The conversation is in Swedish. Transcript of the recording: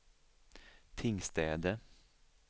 Tingstäde